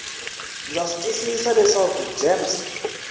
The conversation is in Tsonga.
ndza swi twisisa leswaku gems